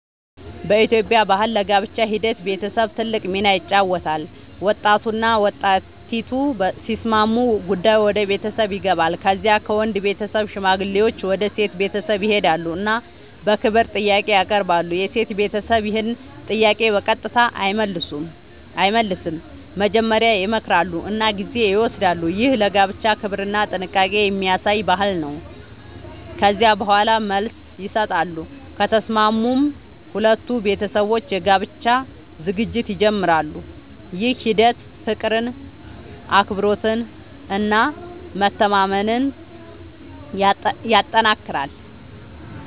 በኢትዮጵያ ባህል ለጋብቻ ሂደት ቤተሰብ ትልቅ ሚና ይጫወታል። ወጣቱና ወጣቲቱ ሲስማሙ ጉዳዩ ወደ ቤተሰብ ይገባል። ከዚያ ከወንድ ቤተሰብ ሽማግሌዎች ወደ ሴት ቤተሰብ ይሄዳሉ እና በክብር ጥያቄ ያቀርባሉ። የሴት ቤተሰብ ይህን ጥያቄ በቀጥታ አይመልስም፤ መጀመሪያ ይመክራሉ እና ጊዜ ይወስዳሉ። ይህ ለጋብቻ ክብርና ጥንቃቄ የሚያሳይ ባህል ነው። ከዚያ በኋላ መልስ ይሰጣሉ፤ ከተስማሙም ሁለቱ ቤተሰቦች የጋብቻ ዝግጅት ይጀምራሉ። ይህ ሂደት ፍቅርን፣ አክብሮትን እና መተማመንን ያጠናክራል።